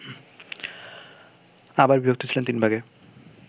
আবার বিভক্ত ছিলেন তিন ভাগে